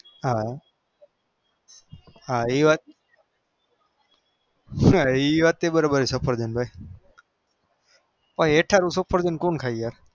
હા એ વાત ઈ વાતે બરો બાર હ એઠુંરૂ સફરજન કોણ ખાય